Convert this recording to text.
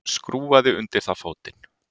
Skrúfaði undir það fótinn.